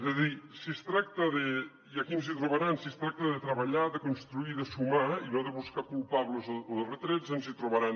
és a dir si es tracta de i aquí ens trobaran treballar de construir de sumar i no de buscar culpables o de retrets ens hi trobaran